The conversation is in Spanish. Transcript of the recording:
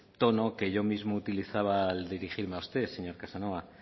tono que yo mismo utilizaba al dirigirme a usted señor casanova